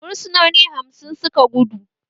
Fursunoni hamsin suka gudu